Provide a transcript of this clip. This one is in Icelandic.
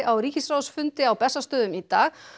á ríkisráðsfundi á Bessastöðum í dag